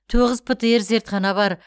тоғыз птр зертхана бар